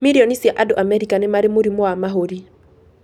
Mirioni cia andũ Amerika nĩ marĩ mũrimũ wa mahũri.